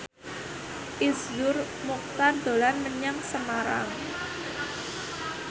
Iszur Muchtar dolan menyang Semarang